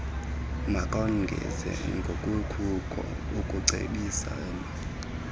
makongeze ngokukuko ekucebiseni